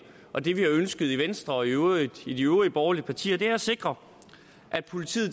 og det vi har ønsket i venstre og i øvrigt i de øvrige borgerlige partier er at sikre at politiet